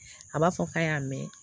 A b'a fɔ k'a y'a mɛn